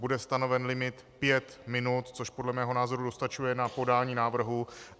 Bude stanoven limit pět minut, což podle mého názoru dostačuje na podání návrhu.